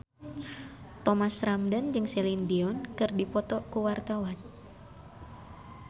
Thomas Ramdhan jeung Celine Dion keur dipoto ku wartawan